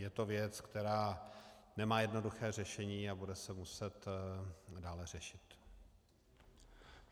Je to věc, která nemá jednoduché řešení a bude se muset dále řešit.